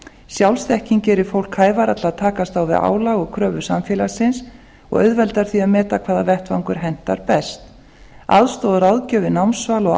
sjálfsþekking gerir fólk hæfara til að takast á við álag og kröfur samfélagsins og auðvelda því að meta hvaða vettvangur hentar best aðstoð við ráðgjöf við námsval